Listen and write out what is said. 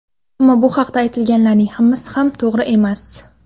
Ammo bu haqida aytilganlarining hammasi ham to‘g‘ri emas.